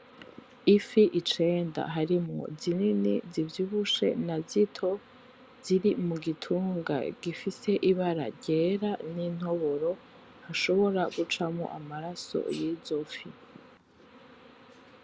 Ifi icenda harimwo zinini zivyibushe nazito. Ziri mugitunga gifise ibara ryera n'intoboro hashobora gucamwo amaraso yizo fi.